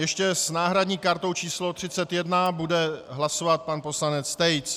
Ještě s náhradní kartou číslo 31 bude hlasovat pan poslanec Tejc.